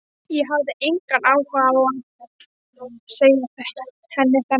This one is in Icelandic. Ég hafði engan áhuga á að segja henni þennan.